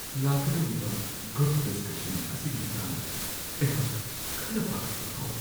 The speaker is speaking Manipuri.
ꯂꯥꯛꯀꯗꯧꯔꯤꯕ ꯒ꯭ꯔꯨꯞ ꯗꯤꯁꯀꯁꯟ ꯑꯁꯤꯒꯤ ꯃꯇꯥꯡꯗ ꯑꯩꯍꯥꯛ ꯈꯔ ꯄꯥꯈꯠꯄ ꯐꯥꯎꯋꯤ ꯫